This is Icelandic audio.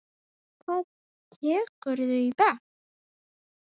Hvað tekurðu í bekk?